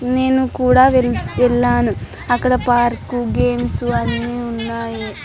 నేను కూడా వెళ్ళాను. అక్కడ పార్క్ గేమ్స్ అన్నీ ఉన్నాయి.